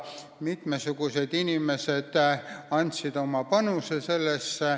Mitmed inimesed andsid sellesse oma panuse.